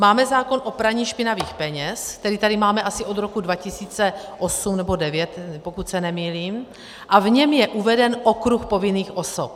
Máme zákon o praní špinavých peněz, který tady máme asi od roku 2008 nebo 2009, pokud se nemýlím, a v něm je uveden okruh povinných osob.